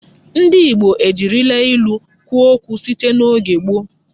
Ndị Igbo ejirila ilu kwuo okwu site n'oge gboo.